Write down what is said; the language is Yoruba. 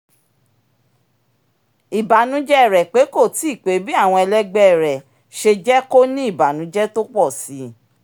ìbànújẹ rẹ pé kó tíí pé bí àwọn ẹlẹ́gbẹ́ rẹ ṣe jẹ́ kó ní ìbànújẹ tó pọ̀ síi